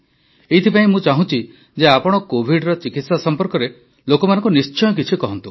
ଏଥିପାଇଁ ମୁଁ ଚାହୁଁଛି ଯେ ଆପଣ କୋଭିଡ୍ର ଚିକିତ୍ସା ସମ୍ପର୍କରେ ଲୋକଙ୍କୁ ନିଶ୍ଚୟ କିଛି କୁହନ୍ତୁ